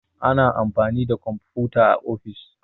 Ana amfani da komfuta a ofis